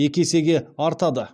екі есеге артады